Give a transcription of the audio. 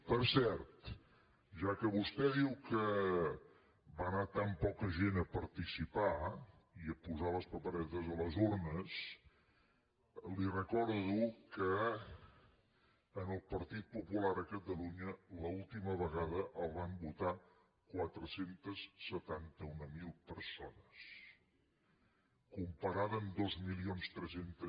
per cert ja que vostè diu que va anar tan poca gent a participar i a posar les paperetes a les urnes li recordo que al partit popular a catalunya l’última vegada el van votar quatre cents i setanta mil persones comparat amb dos mil tres cents